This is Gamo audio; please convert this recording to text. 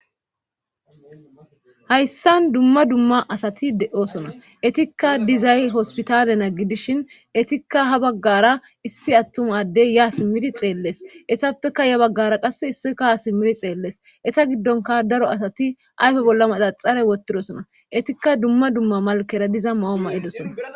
Hayssan dumma dumma asati de7osona etikka dizay hospitalena gidishin etikka ha baggara issi attumaddey ya simmidi xeelles esappeka ya baggara qass issika ha simmidi xeellees eta giddonka daro asati ayfe bolla mata xare wottidosona etikka dumma dumma malkera diza mao ma7edosona.